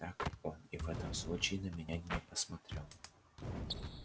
так он и в этом случае на меня не посмотрел